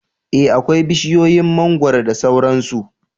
Eh akwai bishiyoyin mangwaro da sauran su